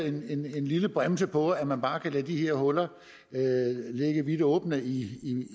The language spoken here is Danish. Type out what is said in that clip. en lille bremse på at man bare kan lade de her huller ligge vidt åbne i